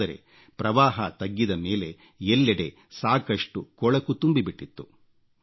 ಆದರೆ ಪ್ರವಾಹ ತಗ್ಗಿದ ಮೇಲೆ ಎಲ್ಲೆಡೆ ಸಾಕಷ್ಟು ಕೊಳಕು ಗಲೀಜು ತುಂಬಿಬಿಟ್ಟಿತ್ತು